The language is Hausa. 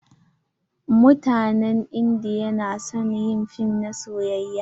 Mutanen indiya na son yin fim na soyayya.